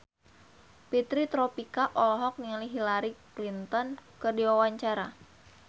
Fitri Tropika olohok ningali Hillary Clinton keur diwawancara